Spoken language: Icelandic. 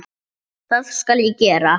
Það skal ég gera.